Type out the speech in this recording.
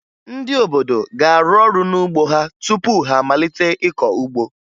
Ndị obodo ga-arụ ọrụ n'ugbo ha tupu ha amalite ịkọ ugbo